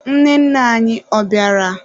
Nwanne nna anyi, ọ bịara?